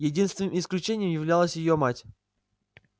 единственным исключением являлась её мать